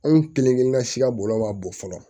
Anw kelenkelenna si ka bɔlɔ ma bon fɔlɔ